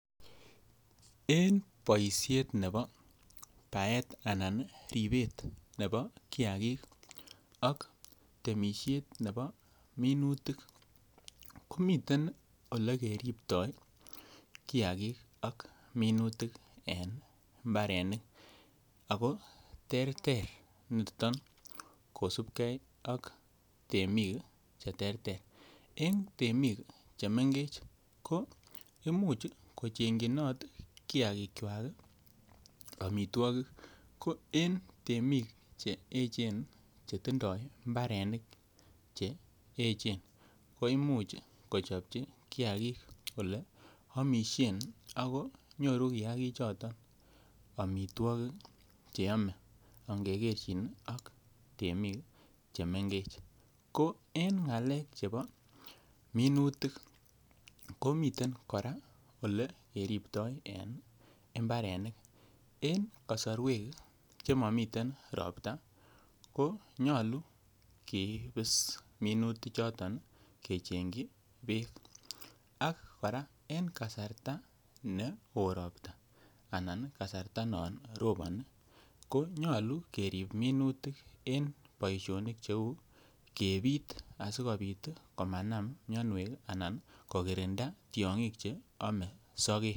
En boishet nebo baet anan ribet nebo kiagik ak temisiet nebo minutik ko miten ole keribto kiagik ak minutik en mbarenik ako terter niton kosupgee ak temik che terter en temik che mengech ko imuch kochengyinot kiagikwak omitwokik ko en temik che echen che tindoi mbarenik che echen koimuch kochopji kiagik ole omishen ako nyoru kiagik choton omitwokik che yome onge gerchin ii ak ngemii che mengech. Ko en ngalek chebo minutik ko miten koraa ole keribto en mbarenik en kosorwek che momiten robta ko nyoluu keibis minutik choton kechengyi beek ak koraa en kasarta ne woo robta anan kasarta nebo yon roboni ko nyoluu kerib minutik en boisionik che uu kepit asikopit komanam mionwek ii anan kokirinda tyogik che ome sogek